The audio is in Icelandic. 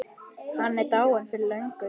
Hann er dáinn fyrir löngu.